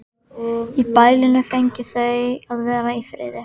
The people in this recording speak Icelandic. Í bælinu fengju þau að vera í friði.